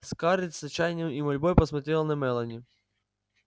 скарлетт с отчаянием и мольбой посмотрела на мелани